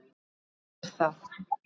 Þarna er það!